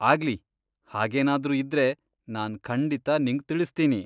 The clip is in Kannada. ಆಗ್ಲಿ, ಹಾಗೇನಾದ್ರೂ ಇದ್ರೆ ನಾನ್ ಖಂಡಿತ ನಿಂಗ್ ತಿಳಿಸ್ತೀನಿ.